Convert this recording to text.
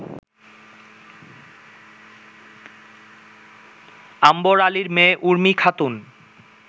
আম্বর আলীর মেয়ে উর্মি খাতুন